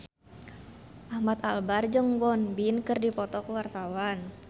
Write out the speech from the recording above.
Ahmad Albar jeung Won Bin keur dipoto ku wartawan